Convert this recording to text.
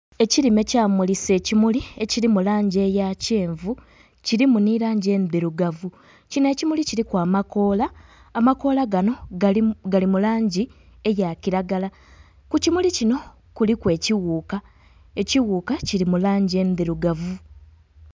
Ekilime kyamulisa ekimuli ekilimu langi eya kyenvu, kilimu nhi langi endhirugavu. Kino ekimuli kiliku amakoola, amakoola gano, gali mu langi eya kilagala. Ku kimuli kino kuliku ekighuka, ekighuka kili mu langi endhirugavu.